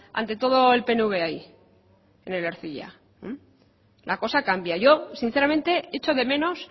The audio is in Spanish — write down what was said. ante todo el pnv ahí en el ercilla la cosa cambia yo sinceramente echo de menos